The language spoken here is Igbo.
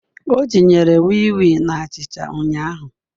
O tinyere wii wii na achicha ụnyahụ